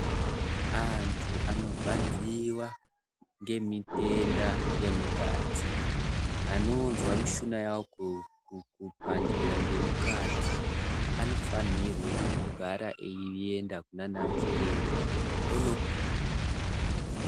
Antu anorwadziwa ngemitenda yemukati anozwa mishina yavo kupandira ngemukati anofanirwa kugara einda kunanachiremba ondorapwa.